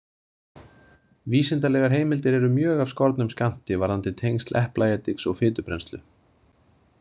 Vísindalegar heimildir eru mjög af skornum skammti varðandi tengsl eplaediks og fitubrennslu.